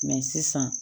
sisan